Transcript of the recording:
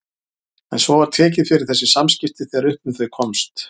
En svo var tekið fyrir þessi samskipti þegar upp um þau komst.